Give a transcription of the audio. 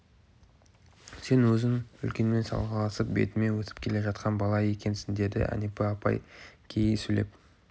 сен өзің үлкенмен салғыласып бетіңмен өсіп келе жатқан бала екенсің деді әнипа апай кейи сөйлеп